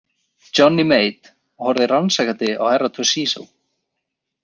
Johnny Mate horfði rannsakandi á Herra Toshizo.